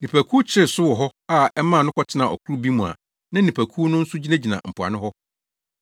Nnipakuw kyeree so wɔ hɔ a ɛmaa no kɔtenaa ɔkorow bi mu a na nnipakuw no nso gyinagyina mpoano hɔ.